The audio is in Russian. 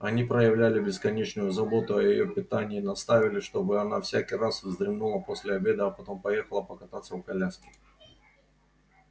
они проявляли бесконечную заботу о её питании настаивали чтобы она всякий раз вздремнула после обеда а потом поехала покататься в коляске